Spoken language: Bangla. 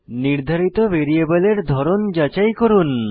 নির্ধারিত ভ্যারিয়েবলের ধরন যাচাই করুন